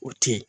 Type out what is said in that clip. O te yen